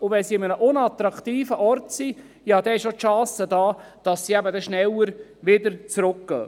Wenn sie an einem unattraktiven Ort sind, besteht die Chance, dass sie schneller zurückkehren.